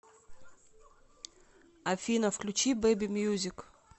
афина включи бэби мьюзик